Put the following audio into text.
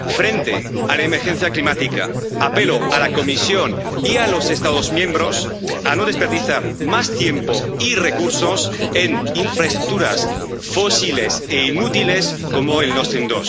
Frente a la emergencia climática, apelo a la Comisión y a los Estados miembros a no desperdiciar más tiempo y recursos en infraestructuras fósiles e inútiles como el Nord Stream